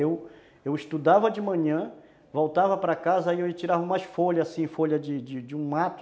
Eu, eu estudava de manhã, voltava para casa e aí eu tirava umas folhas assim, folhas de de um mato